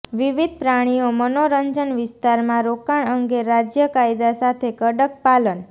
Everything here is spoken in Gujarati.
વિવિધ પ્રાણીઓ મનોરંજન વિસ્તારમાં રોકાણ અંગે રાજ્ય કાયદા સાથે કડક પાલન